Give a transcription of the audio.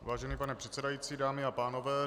Vážený pane předsedající, dámy a pánové.